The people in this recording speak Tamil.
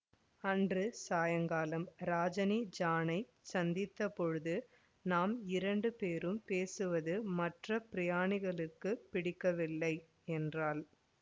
அன்று சாயங்காலம் ராஜினி ஜானைச் சந்தித்த போது நாம் இரண்டு பேரும் பேசுவது மற்ற பிரயாணிகளுக்குப் பிடிக்கவில்லை என்றாள்